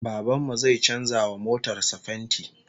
Baban mu zai canza wa motar sa fenti